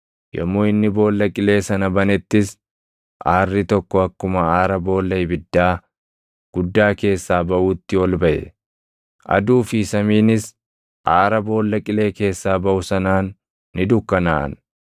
Yommuu inni Boolla Qilee sana banettis aarri tokko akkuma aara boolla ibiddaa guddaa keessaa baʼuutti ol baʼe. Aduu fi samiinis aara Boolla Qilee keessaa baʼu sanaan ni dukkanaaʼan.